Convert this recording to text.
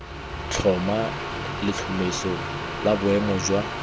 tlhoma letlhomeso la boemo jwa